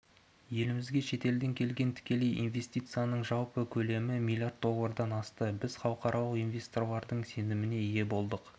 елімізге шетелден келген тікелей инвестицияның жалпы көлемі млрд доллардан асты біз халықаралық инвесторлардың сеніміне ие болдық